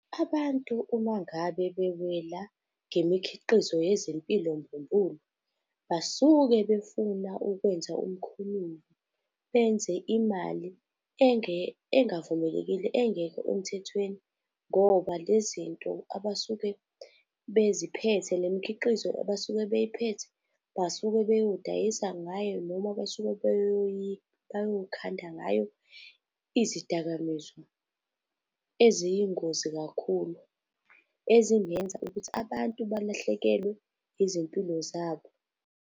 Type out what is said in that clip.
Abantu uma ngabe bewela ngemikhiqizo yezempilo mbumbulu, basuke befuna ukwenza umkhonyovu, benze imali engavumelekile, engekho emthethweni. Ngoba le zinto abasuke beziphethe le mikhiqizo abasuke bey'phethe, basuke beyodayisa ngayo noma basuke beyokhanda ngayo izidakamizwa eziyingozi kakhulu, ezingenza ukuthi abantu balahlekelwe izimpilo zabo.